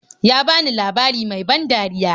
Ya bani labari mai ban dariya.